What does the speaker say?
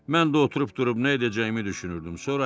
Mən də oturub durub nə edəcəyimi düşünürdüm.